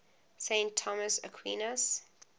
saint thomas aquinas